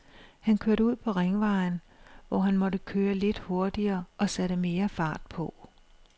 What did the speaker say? Han kørte ud på ringvejen, hvor han måtte køre lidt hurtigere og satte mere fart på.